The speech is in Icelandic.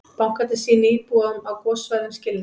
Bankarnir sýni íbúum á gossvæðum skilning